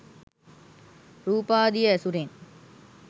රූපාදිය ඇසුරෙන්